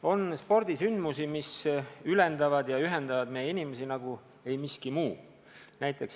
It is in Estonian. On spordisündmusi, mis ülendavad ja ühendavad meie inimesi nagu ei miski muu.